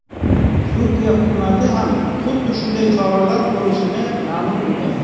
Turkiya hukumati ham xuddi shunday choralar ko‘rishini ma’lum qilgan .